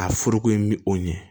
A foroko in bi o ɲɛ